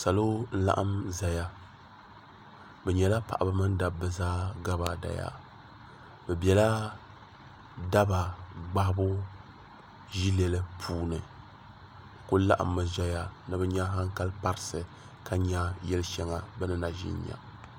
salo luɣili zaya be nyɛla paɣ' ba ni daba zaa gabaadaya bɛ bɛla taba gbahi bu yili puuni bɛ kuli laɣim mi ʒɛya ni be nyɛ haŋkali parisi ka nyɛ yali shɛŋa be ni na ʒɛn nyɛ